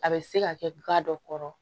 A bɛ se ka kɛ gan dɔ kɔrɔ